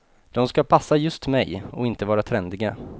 De ska passa just mig och inte vara trendiga.